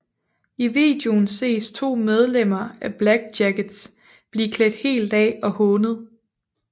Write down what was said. I videoen ses to medlemmer af Black Jackets blive klædt helt af og hånet